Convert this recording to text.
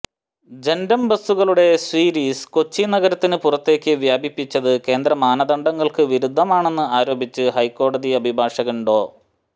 ജന്റം ബസുകളുടെ സര്വീസ് കൊച്ചി നഗരത്തിന് പുറത്തേക്ക് വ്യാപിപ്പിച്ചത് കേന്ദ്ര മാനദണ്ഡങ്ങള്ക്ക് വിരുദ്ധമാണെന്ന് ആരോപിച്ച് ഹൈക്കോടതി അഭിഭാഷകന് ഡോ